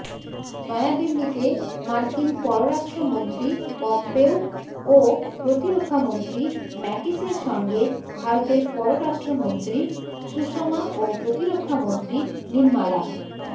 নয়াদিল্লিতে মার্কিন পররাষ্ট্রমন্ত্রী পম্পেও ও প্রতিরক্ষামন্ত্রী ম্যাটিসের সঙ্গে ভারতের পররাষ্ট্রমন্ত্রী সুষমা ও প্রতিরক্ষামন্ত্রী নির্মালা